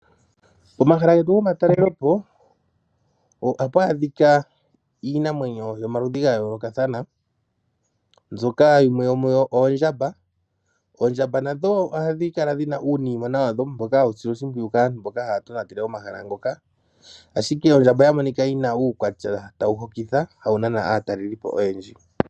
Omahala getu gomatalelopo ohapu adhika iinamwenyo yomaludhi gayoolokathana, mbyoka yimwe yomuyo oondjamba. Oondjamba nadho ohadhi kala dhina uunimona wadho mboka hawu silwa oshipwiyu kaantu mboka haya tonatele omahala ngoka, ashike ondjamba oya monika yina uukwatya, tawu hokitha hawunana aatalelipo oyendji.